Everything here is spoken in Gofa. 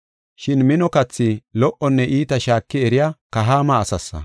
Shin mino kathi lo77onne iita shaaki eriya kahaama asaasa.